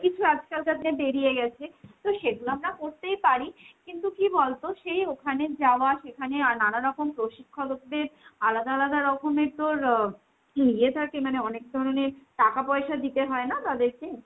কিছু আজকালকার বেরিয়েগেছে। তো সেতো আমরা করতেই পারি। কিন্তু কি বলতো সেই ওখানে যাওয়া, সেখানে নানারকম প্রশিক্ষলোকদের আলাদা আলাদা রকমের তোর ইয়ে থাকে মানে অনেক ধরণের টাকা পয়সা দিতে হয় না তাদের কে?